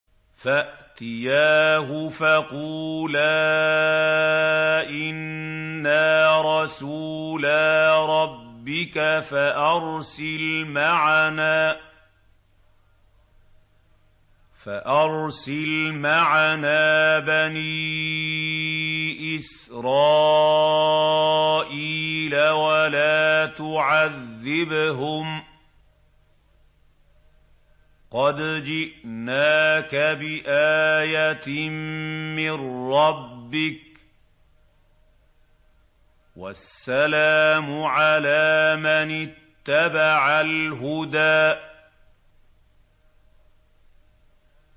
فَأْتِيَاهُ فَقُولَا إِنَّا رَسُولَا رَبِّكَ فَأَرْسِلْ مَعَنَا بَنِي إِسْرَائِيلَ وَلَا تُعَذِّبْهُمْ ۖ قَدْ جِئْنَاكَ بِآيَةٍ مِّن رَّبِّكَ ۖ وَالسَّلَامُ عَلَىٰ مَنِ اتَّبَعَ الْهُدَىٰ